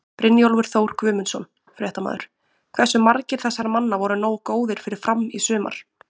Brynjólfur Þór Guðmundsson, fréttamaður: Hversu margir þessara manna voru nógu góðir fyrir Fram í sumar?